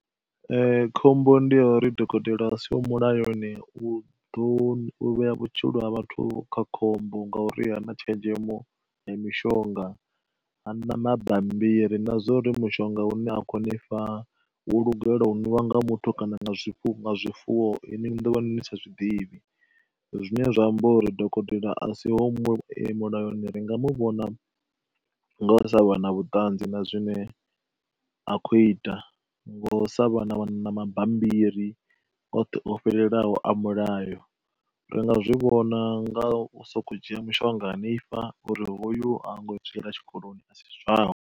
khombo ndi ya uri dokotela a siho mulayoni u ḓo vhea vhutshilo ha vhathu kha khombo nga uri ha na tshenzhemo ya mishonga, ha na mabammbiri na zwa uri mushonga une a kho ni fha wo lugela u ṅwiwa nga muthu kana nga zwifuwo ini ni ḓovha ni sa zwiḓivhi. Zwine zwa amba uri dokotela a si ho mulayoni ringa mu vhona nga sa vha na vhuṱanzi na zwine a khou ita, ngo sa vha na mabambiri oṱhe o fhelelaho a mulayo, ringa zwi vhona nga soko dzhia mushonga a ni fha uri hoyu hango zwi yela tshikoloni a si zwawe.